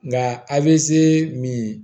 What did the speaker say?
Nka avc